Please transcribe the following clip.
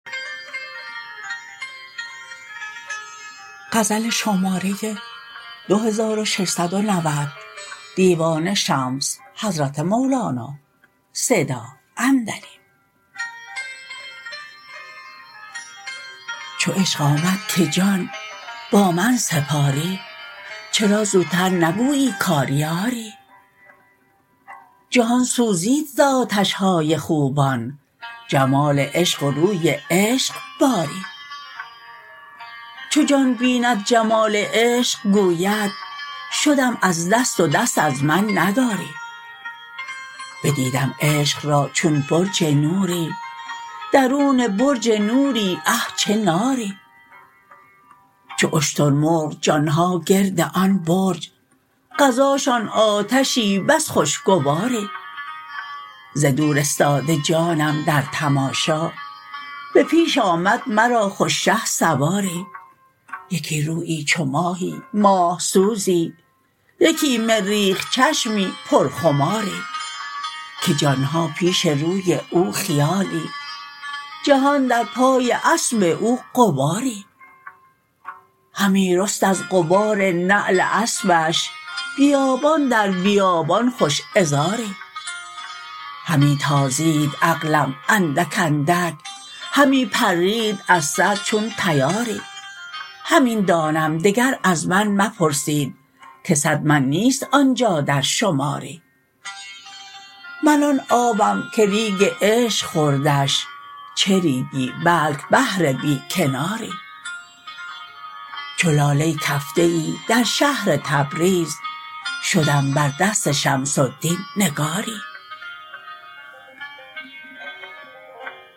چو عشق آمد که جان با من سپاری چرا زوتر نگویی کآری آری جهان سوزید ز آتش های خوبان جمال عشق و روی عشق باری چو جان بیند جمال عشق گوید شدم از دست و دست از من نداری بدیدم عشق را چون برج نوری درون برج نوری اه چه ناری چو اشترمرغ جان ها گرد آن برج غذاشان آتشی بس خوشگواری ز دور استاده جانم در تماشا به پیش آمد مرا خوش شهسواری یکی رویی چو ماهی ماه سوزی یکی مریخ چشمی پرخماری که جان ها پیش روی او خیالی جهان در پای اسب او غباری همی رست از غبار نعل اسبش بیابان در بیابان خوش عذاری همی تازید عقلم اندک اندک همی پرید از سر چون طیاری همین دانم دگر از من مپرسید که صد من نیست آن جا در شماری من آن آبم که ریگ عشق خوردش چه ریگی بلک بحر بی کناری چو لاله کفته ای در شهر تبریز شدم بر دست شمس الدین نگاری